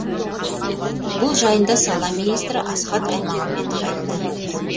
бұл жайында сала министрі асхат аймағамбетов айтты